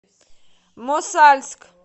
мосальск